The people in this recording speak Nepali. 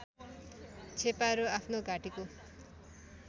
छेपारो आफ्नो घाँटीको